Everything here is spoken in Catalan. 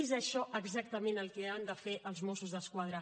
és això exactament el que han de fer els mossos d’esquadra